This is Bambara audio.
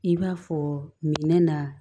I b'a fɔ minɛn na